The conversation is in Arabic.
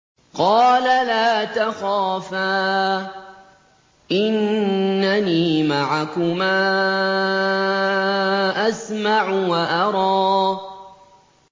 قَالَ لَا تَخَافَا ۖ إِنَّنِي مَعَكُمَا أَسْمَعُ وَأَرَىٰ